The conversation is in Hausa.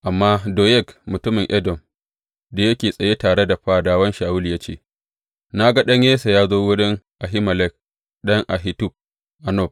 Amma Doyeg mutumin Edom da yake tsaye tare da fadawan Shawulu ya ce, Na ga ɗan Yesse ya zo wurin Ahimelek ɗan Ahitub a Nob.